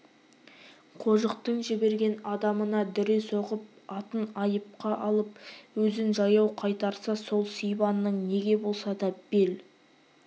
қожықтың жіберген адамына дүре соғып атын айыпқа алып өзін жаяу қайтарса ол сибанның неге болса да бел